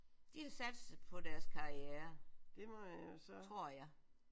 De har satset på deres karriere tror jeg